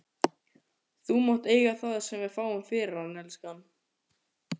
Þú mátt eiga það sem við fáum fyrir hann, elskan.